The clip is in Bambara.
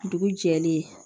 Dugu jɛlen